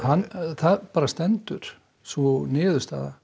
það stendur sú niðurstaða